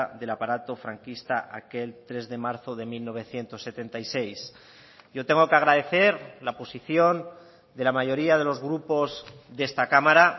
del aparato franquista aquel tres de marzo de mil novecientos setenta y seis yo tengo que agradecer la posición de la mayoría de los grupos de esta cámara